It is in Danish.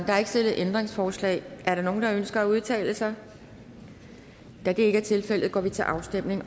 er ikke stillet ændringsforslag er der nogen der ønsker sig at udtale sig da det ikke er tilfældet går vi til afstemning